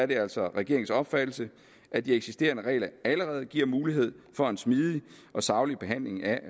det altså regeringens opfattelse at de eksisterende regler allerede giver mulighed for en smidig og saglig behandling af